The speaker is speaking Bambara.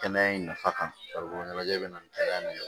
Kɛnɛya in nafa kan farikolo ɲɛnajɛ bɛ na ni kɛnɛya ye